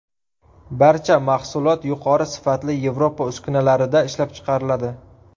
Barcha mahsulot yuqori sifatli Yevropa uskunalarida ishlab chiqariladi.